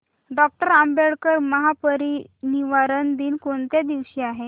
doctor Ambedkar महापरिनिर्वाण दिन कोणत्या दिवशी आहे